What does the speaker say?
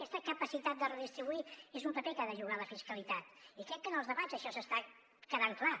aquesta capacitat de redistribuir és un paper que ha de jugar la fiscalitat i crec que en els debats això està quedant clar